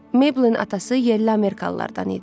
Maybelin atası yerli amerikalılardan idi.